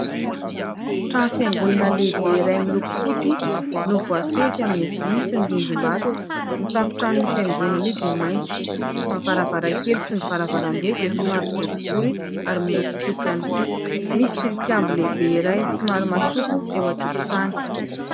Trano fiangonana lehibe iray miloko fotsy no voafefy amin'ny vy sy ny rindrim-bato. Ny tafotranon'io fiangonana io dia maitso. Ny varavarankely sy ny varavarambe dia somary boribory ary miloko fotsy ihany koa. Misy tilikambo lehibe iray somary matsoko eo an-tokotany.